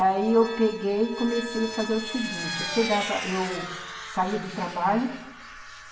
Aí eu peguei e comecei a fazer o seguinte, eu chegava, eu saía do trabalho.